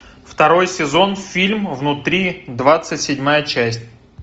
второй сезон фильм внутри двадцать седьмая часть